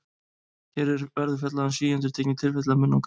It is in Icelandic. Hér verður fjallað um síendurtekin tilfelli af munnangri.